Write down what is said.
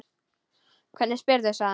Hvernig spyrðu, sagði hann.